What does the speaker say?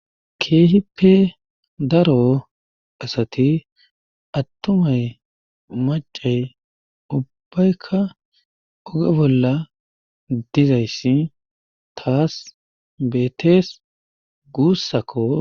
keehippe daro asati attumay macay ubbaykka oge bolla dizayssi taas beetees guussakko